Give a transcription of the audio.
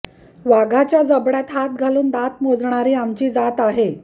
वाघाच्या जबड्यात हात घालून दात मोजणारी आमची जात आहे